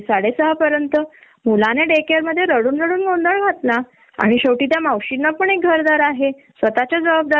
तर हे लोक लवकर निघाले तरी तो दुसऱ्या दिवशी येऊन मुद्दाम खरडपट्टी घेनार मुद्दाम त्रास देणार अश्या वृतिचा होता तो माहिती तो